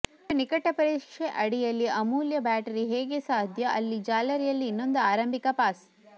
ಇದು ನಿಕಟ ಪರೀಕ್ಷೆ ಅಡಿಯಲ್ಲಿ ಅಮೂಲ್ಯ ಬ್ಯಾಟರಿ ಹೇಗೆ ಸಾಧ್ಯ ಅಲ್ಲಿ ಜಾಲರಿಯಲ್ಲಿ ಇನ್ನೊಂದು ಆರಂಭಿಕ ಪಾಸ್